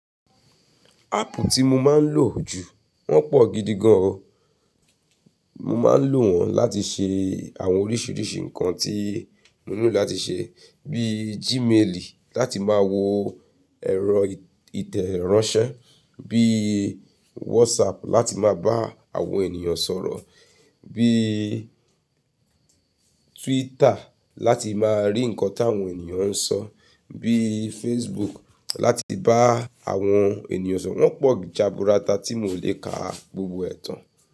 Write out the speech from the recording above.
Áàpù tí mo máa ń lò jù wọ́n pọ̀ gidi gan. Mo máa ń lò wọ́n láti ṣe àwọn oríṣiríṣi nǹkan tí mo nílò láti ṣe. Bíí Gmail láti máa wo ẹ̀rọ ìtẹ̀ránsẹ́, bíí WhatsApp láti máa bá àwọn ènìyàn sọ̀rọ̀, bíí Twitter láti máa rí nǹkan tí àwọn ènìyàn ń sọ, bíí Facebook láti bá àwọn ènìyàn sọ̀rọ̀. Wọ́n pọ̀ jaburata tí mò lé ka gbogbo ẹ̀tàn.